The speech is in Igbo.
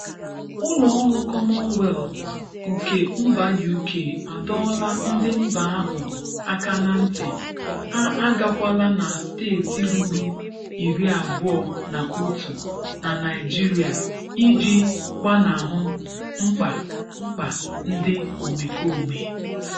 Ụlọọrụ 'Common Wealth' nke mba UK adọọla ndị mba ahụ aka na nti ha agakwala na steeti ruru iri abụọ na otu na Naịjirịa iji gbanahụ mkpa mkpa ndị omekome.